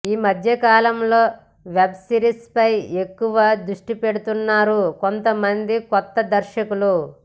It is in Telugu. ఈమధ్య కాలంలో వెబ్ సిరీస్పై ఎక్కువ దృష్టిపెడుతున్నారు కొంతమంది కొత్త దర్శకులు